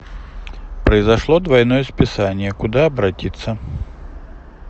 произошло двойное списание куда обратиться